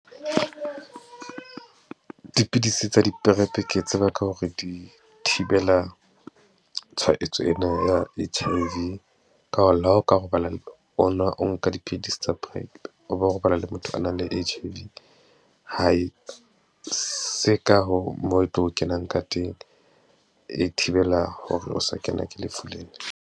Dipidisi tsa di-prep ke tseba ka hore di thibela tshwaetso ena ya H_I_V. Ka hore le ha o ka robala, o nka dipidisi tsa prep, o wa robala le motho a nang le H_I_V. Ha e se ka hoo moo e tlo kenang ka teng, e thibela hore o sa kena ke lefu lena.